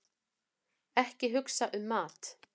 Ekki hugsa um mat!